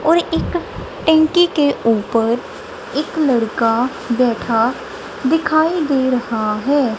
और एक टंकी के ऊपर एक लड़का बैठा दिखाई दे रहा है।